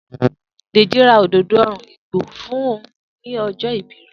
Deji ra òdòdó òòrùn igbó fún un ní ọjọ́ ìbí rẹ̀.